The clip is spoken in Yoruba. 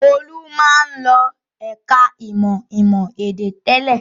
Olú máa ń lọ ẹ̀ka-ìmọ̀ ìmọ̀-èdè tẹ́lẹ̀.